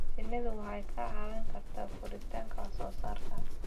Shinnidu waxay kaa caawin kartaa kordhinta wax soo saarka.